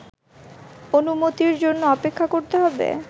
অনুমতির জন্য অপেক্ষা করতে হবে